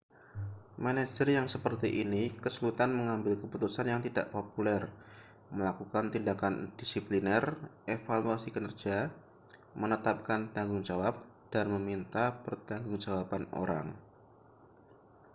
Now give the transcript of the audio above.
manajer yang seperti ini kesulitan mengambil keputusan yang tidak populer melakukan tindakan disipliner evaluasi kinerja menetapkan tanggung jawab dan meminta pertanggungjawaban orang